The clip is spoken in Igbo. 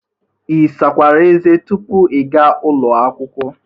Ị sakwara eze tupu ị ga ụlọ akwụkwọ?